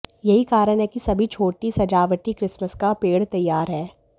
यही कारण है कि सभी छोटी सजावटी क्रिसमस का पेड़ तैयार है